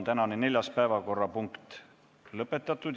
Tänase neljanda päevakorrapunkti arutelu on lõppenud.